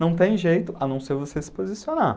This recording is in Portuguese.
Não tem jeito, a não ser você se posicionar.